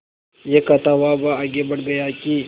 यह कहता हुआ वह आगे बढ़ गया कि